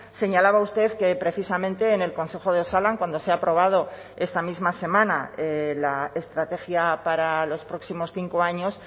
señalaba usted que precisamente en el consejo de osalan cuando se ha aprobado esta misma semana la estrategia para los próximos cinco años